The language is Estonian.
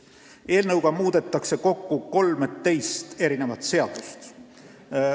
Eelnõuga muudetakse kokku 13 seadust.